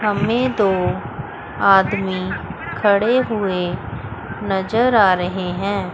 हममें दो आदमी खड़े हुए नजर आ रहे हैं।